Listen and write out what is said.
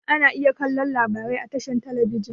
Ana iya kallo labarai a tashar talabijin.